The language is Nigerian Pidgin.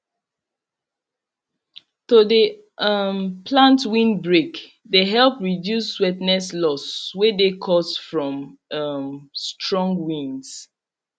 to de um plant windbreak de help reduce wetness loss wey de caused from um strong winds